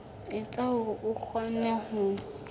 etsa hore o kgone ho